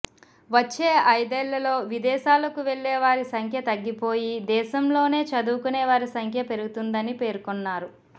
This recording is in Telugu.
వచ్చే ఐదేళ్లలో విదేశాలకు వెళ్లే వారి సంఖ్య తగ్గిపోయి దేశంలోనే చదువుకునే వారి సంఖ్య పెరుగుతుందని పేర్కొన్నారు